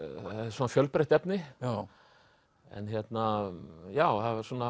svona fjölbreytt efni en hérna já